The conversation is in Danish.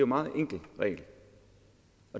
meget enkel regel